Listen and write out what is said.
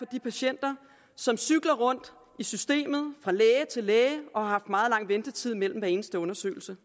de patienter som cykler rundt i systemet fra læge til læge og som har haft meget lang ventetid mellem hver eneste undersøgelser